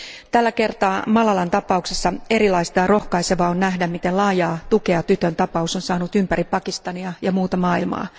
Tällä kertaa Malalan tapauksessa erilaista ja rohkaisevaa on nähdä, miten laajaa tukea tytön tapaus on saanut ympäri Pakistania ja muuta maailmaa.